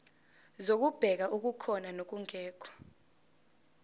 zokubheka okukhona nokungekho